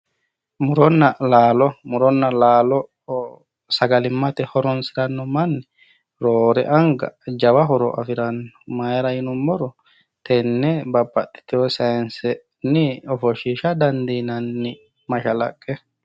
Muronna laalo, muronna laalo sagalimmate horonsiranno manni roore anga jawa horo afiranno maayiira yinummoro tenne babbaxitewo saayiinsenni ofoshshiisha dandiinanni mashaaqqe.